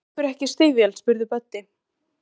Vantar ykkur ekki stígvél? spurði Böddi.